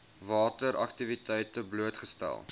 water aktiwiteite blootgestel